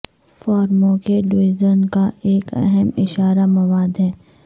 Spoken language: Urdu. فارموں کے ڈویژن کا ایک اہم اشارہ مواد ہے